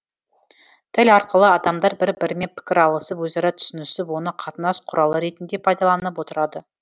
тіл арқылы адамдар бір бірімен пікір алысып өзара түсінісіп оны қатынас құралы ретінде пайдаланып отырады